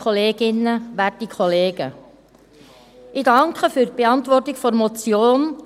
Ich danke für die Beantwortung der Motion.